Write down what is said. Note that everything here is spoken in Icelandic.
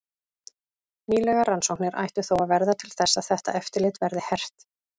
Nýlegar rannsóknir ættu þó að verða til þess að þetta eftirlit verði hert.